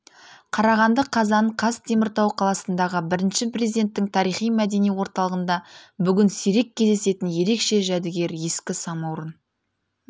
қарағанды қазан қаз теміртау қаласындағы бірінші президенттің тарихи-мәдени орталығында бүгін сирек кездесетін ерекше жәрігер ескі самаурын